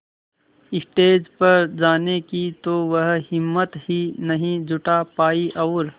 stage पर जाने की तो वह हिम्मत ही नहीं जुटा पाई और